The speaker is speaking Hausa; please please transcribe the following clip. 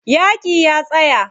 Yaƙin ya tsaya.